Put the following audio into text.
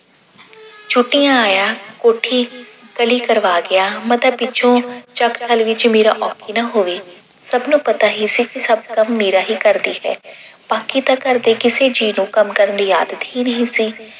ਛੁੱਟਿਆਂ ਆਇਆ, ਕੋਠੀ ਕਲੀ ਕਰਵਾ ਗਿਆ। ਮਾਤਾ ਪਿੱਛੋਂ ਚੱਕ ਧਰ ਵਿੱਚ ਮੀਰਾ ਔਖੀ ਨਾ ਹੋਵੇ। ਸਭ ਨੂੰ ਪਤਾ ਹੀ ਸੀ ਕਿ ਸਭ ਕੰਮ ਮੀਰਾ ਹੀ ਕਰਦੀ ਹੈ ਬਾਕੀ ਤਾਂ ਕਿਸੇ ਘਰ ਦੇ ਜੀਅ ਨੂੰ ਕੰਮ ਕਰਨ ਦੀ ਆਦਤ ਹੀ ਨਹੀਂ ਸੀ